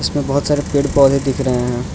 इसमें बहोत सारे पेड़ पौधे दिख रहे हैं।